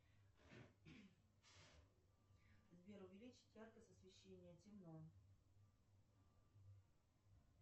сбер увеличить яркость освещения темно